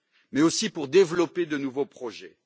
mais aussi pour développer de nouveaux projets.